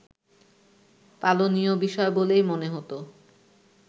পালনীয় বিষয় বলেই মনে হতো